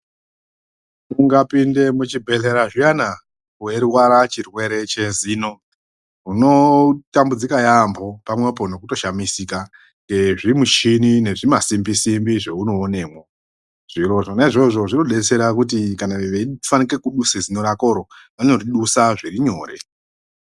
Ungapinde muchibhadhlera zviyana weirwara chirwere chezino unotambudsika yaampo pamwepo nekutoshamisika ee zvimushini nezvima simbi simbi zveunoonemwo zviro zvona izvozvo zvinovadetsera kuti kana veifanike kubvise zino rakoro vanoridusa zviri nyore .